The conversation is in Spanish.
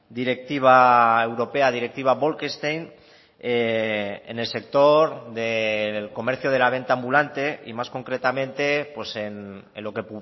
directiva europea directiva bolkestein en el sector del comercio de la venta ambulante y más concretamente en lo que